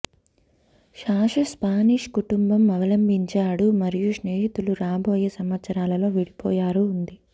Sasha Spanish కుటుంబం అవలంబించాడు మరియు స్నేహితులు రాబోయే సంవత్సరాలలో విడిపోయారు ఉంది